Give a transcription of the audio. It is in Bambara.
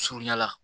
Surunya la